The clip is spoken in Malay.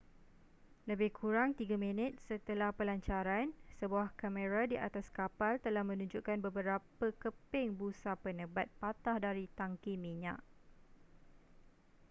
lebih kurang 3 minit setelah pelancaran sebuah kamera di atas kapal telah menunjukkan beberapa keping busa penebat patah dari tangki minyak